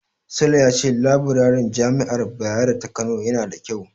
Sule ya ce labirarin Jami'ar Bayero ta Kano yana da ƙyau.